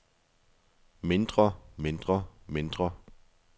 mindre mindre mindre